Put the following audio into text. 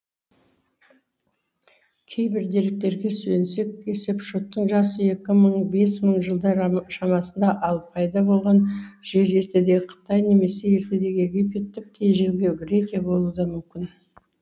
кейбір деректерге сүйенсек есепшоттың жасы екі мың бес мың жылдар шамасында ал пайда болған жері ертедегі қытай немесе ертедегі египет тіпті ежелгі грекия болуы да мүмкін